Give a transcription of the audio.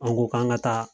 An ko k'an ka taa